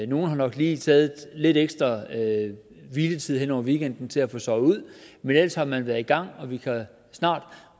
nogle har nok lige taget lidt ekstra hviletid hen over weekenden til at få sovet ud men ellers har man været i gang og vi kan